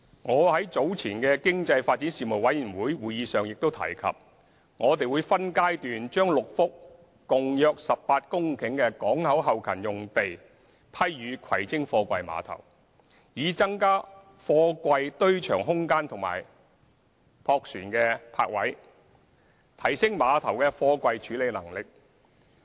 我在早前的經濟發展事務委員會會議上亦提及，我們會分階段將6幅共約18公頃的港口後勤用地批予葵青貨櫃碼頭，以增加貨櫃堆場空間及駁船泊位，提升碼頭的貨櫃處理能力。